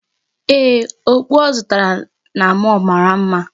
Ee, okpu ọ zụtara na mall mara mma.